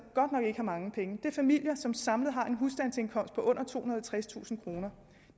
godt nok ikke har mange penge det er familier som samlet har en husstandsindkomst på under tohundrede og tredstusind kroner